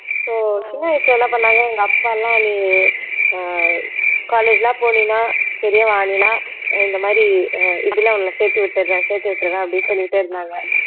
so சின்ன வயசுல என்ன பண்ணாங்க எங்க அப்பா எல்லாம் நீ ஆஹ் college எல்லாம் போனீன்னா பெரியவ ஆனீன்னா அஹ் இந்த மாதிரி அஹ் இதுல உன்னை சேர்த்து விட்டுறேன் சேர்த்து விட்டுறேன் அப்படின்னு சொல்லிகிட்டே இருந்தாங்க